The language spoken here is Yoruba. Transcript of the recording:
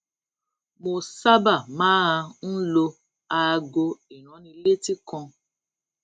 mo sábà máa ń lo aago ìránnilétí kan